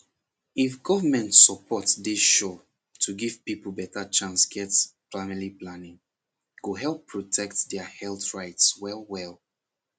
if government support dey sure to give people better chance get family planning go help protect their health rights wellwell